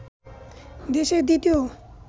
দেশের দ্বিতীয়